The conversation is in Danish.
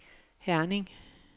Herning